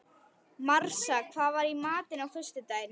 Marsa, hvað er í matinn á föstudaginn?